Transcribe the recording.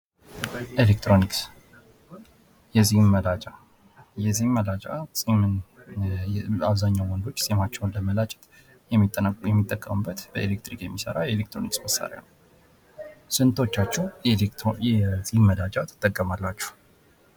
ኤሌክትሮኒክስ የፂም መላጫ የፂም መላጫ አብዛኛውን ወንዶች ፂማቸውን ለመላጨት የሚጠቀሙበት በኤሌክትሪክ የሚሰራ የኤሌክትሮኒክስ መሳርያ ነው። ስንቶቻችሁ የፂም መላጫ ትጠቀማላችሁ?